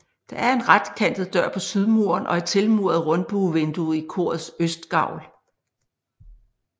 Der er en retkantet dør på sydmuren og et tilmuret rundbuevindue i korets østgavl